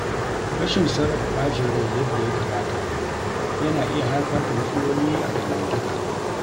Rashin sarrafa ɓacin rai yadda ya kamata yana iya haifar da matsaloli a dangantaka.